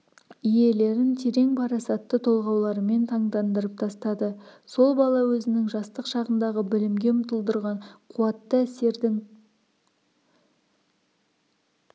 иелерін терең парасатты толғауларымен таңдандырып тастады сол бала өзінің жастық шағындағы білімге ұмтылдырған қуатты әсердің